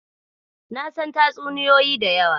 Na san tatsuniyoyi da yawa